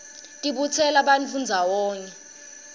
tibutsela bantfu ndzawonye